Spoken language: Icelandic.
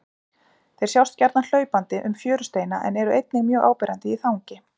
Þeir sjást gjarnan hlaupandi um fjörusteina en eru einnig mjög áberandi í þangi.